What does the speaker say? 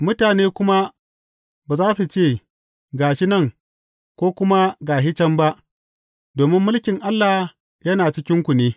Mutane kuma ba za su ce, Ga shi nan,’ ko kuma, Ga shi can’ ba, domin mulkin Allah yana cikinku ne.